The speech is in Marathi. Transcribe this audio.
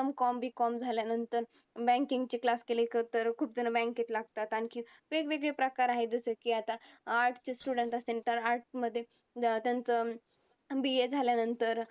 M. Com, B. Com झाल्यानंतर banking चे class केले तर खुपजण bank त लागतात. आणखी वेगवेगळे प्रकार आहेत जसं की आता Arts चे student असेन तर arts मध्ये त्यांचं BA झाल्यानंतर